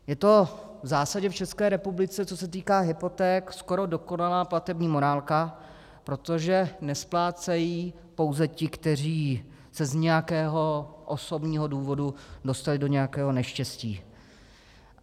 Je to v zásadě v České republice, co se týká hypoték, skoro dokonalá platební morálka, protože nesplácejí pouze ti, kteří se z nějakého osobního důvodu dostali do nějakého neštěstí.